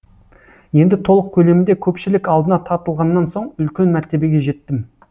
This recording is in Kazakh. енді толық көлемінде көпшілік алдына тартылғаннан соң үлкен мәртебеге жеттім